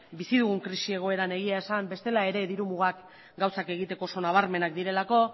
bizi dugun krisi egoeran egia esan bestela ere diru mugak gauzak egiteko oso nabarmenak direlako